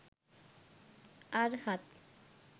අර්හත්,